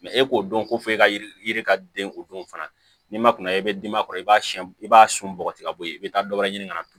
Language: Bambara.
e k'o dɔn ko fɔ e ka yiri ka den o don fana n'i ma kuna i bɛ dimi a kɔrɔ i b'a sɛn i b'a sun bɔgɔ tigɛ ka bɔ yen i bɛ taa dɔ wɛrɛ ɲini ka na